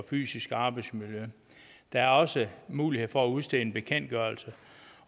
fysiske arbejdsmiljø der er også mulighed for at udstede en bekendtgørelse